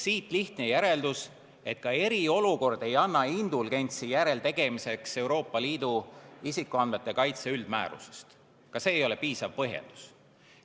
Siit lihtne järeldus, et ka eriolukord ei anna indulgentsi järeleandmiste tegemiseks Euroopa Liidu isikuandmete kaitse üldmääruse puhul, ka see ei ole piisav põhjendus.